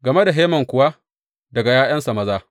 Game da Heman kuwa, daga ’ya’yansa maza.